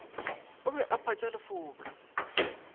o be a phatša lefoka